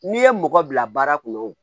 N'i ye mɔgɔ bila baara kɔnɔ o